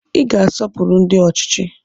Ị ga-asọpụrụ ndị ọchịchị!